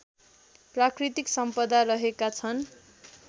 प्राकृतिक सम्पदा रहेका छन्